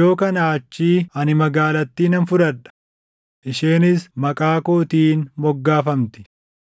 Yoo kanaa achii ani magaalattii nan fudhadha; isheenis maqaa kootiin moggaafamti.”